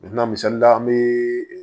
misali la an bɛ